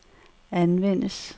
anvendes